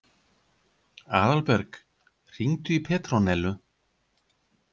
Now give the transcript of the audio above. Aðalberg, hringdu í Petrónellu.